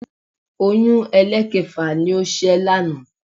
Oyún ẹlẹ́ẹ̀kẹfà ni ó ṣẹ́ lánàá